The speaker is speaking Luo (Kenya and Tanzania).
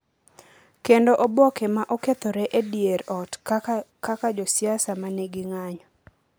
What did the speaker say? kendo oboke ma okethore e dier ot kaka josiasa ma nigi ng’anjo